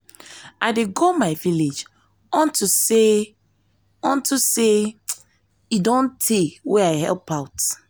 i dey go my village unto say village unto say e don tey wey i help out